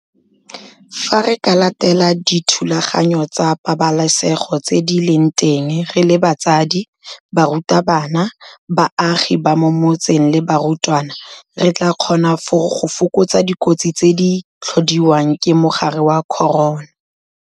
Fa re ka latela dithulaganyo tsa pabalesego tse di leng teng re le batsadi, barutabana, baagi ba mo metseng le barutwana re tla kgona go fokotsa dikotsi tse di tlhodiwang ke mogare wa corona.